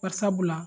Bari sabula